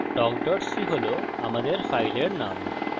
talk c হল আমাদের ফাইলের নাম